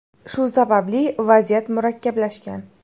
Shu sababli vaziyat murakkablashgan.